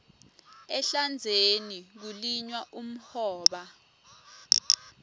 ehlandzeni kulinywa umhoba